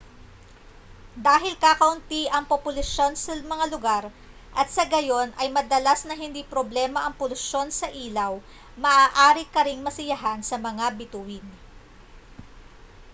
dahil kakaunti ang populasyon sa mga lugar at sa gayon ay madalas na hindi problema ang polusyon sa ilaw maaari ka ring masiyahan sa mga bituin